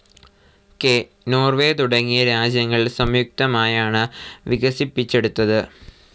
K. Norway തുടങ്ങിയ രാജ്യങ്ങൾ സംയുക്തമായാണ് വികസിപ്പിച്ചെടുത്തത്.